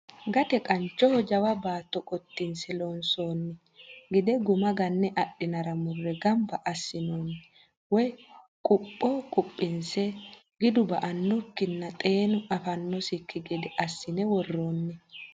Gate qanchoho jawa baatto qotinse loonsonni gide guma gane adhinara murre gamba assinonni woyi qupho quphinse gidu ba"anokkinna xeenu afiranokki gede assine woronni.